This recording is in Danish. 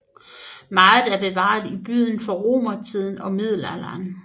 Meget er bevaret i byen fra romertiden og middelalderen